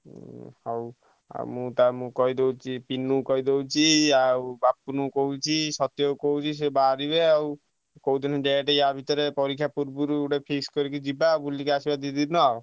ଉଁ ହଉ ଆଉ ତାକୁ କହିଦଉଛି ପିନୁ କୁ କହିଦଉଛି ଆଉ ବପୁନ କୁ କହୁଛି ସତ୍ୟ କୁ କହୁଛି ସେ ବାହାରିବେ ଆଉ କୋଉଦିନ ଗୋଟେ ଆ ଭିତରେ ପରୀକ୍ଷା ପୂର୍ବରୁ ଗୋଟେ feast କରିକି ଆସିଆ ବୁଲିକି ଆସିବା ଦି ଦିନ।